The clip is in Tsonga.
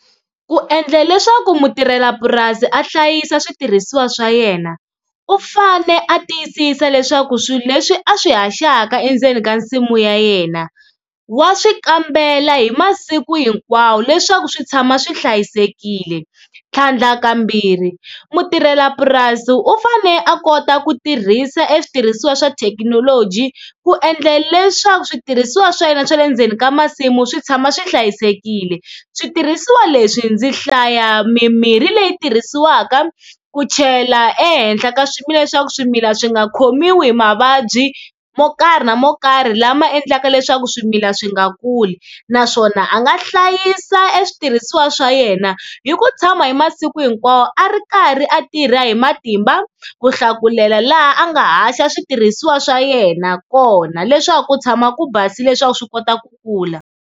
Ku endla leswaku mutirhelapurasi a hlayisa switirhisiwa swa yena u fane a tiyisisa leswaku swilo leswi a swi haxaka endzeni ka nsimu ya yena wa swi kambela hi masiku hinkwawo leswaku swi tshama swi hlayisekile, tlhandlakambirhi mutirhelapurasi u fane a kota ku tirhisa e switirhisiwa swa thekinoloji ku endla leswaku switirhisiwa swa yena swa le ndzeni ka masimu swi tshama swi hlayisekile, switirhisiwa leswi ndzi hlaya mimirhi leyi tirhisiwaka ku chela ehenhla ka swimila leswaku swimila swi nga khomiwi hi mavabyi mo karhi na mo karhi lama endlaka leswaku swimila swi nga kuli, naswona a nga hlayisa e switirhisiwa swa yena hi ku tshama hi masiku hinkwawo a ri karhi a tirha hi matimba ku hlakulela laha a nga haxa switirhisiwa swa yena kona leswaku ku tshama ku basile leswaku swi kota ku kula.